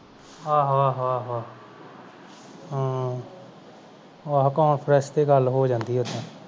ਆਹੋ ਆਹੋ ਆਹੋ ਹੂ ਆਹੋ conference ਤੇ ਗੱਲ ਹੋ ਜਾਂਦੀ ਹੈ ਉਦਾਂ